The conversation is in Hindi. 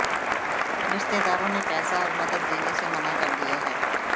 रिश्तेदारों ने पैसा और मदद देने से मना कर दिया है